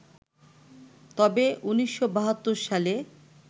তবে ১৯৭২ সালে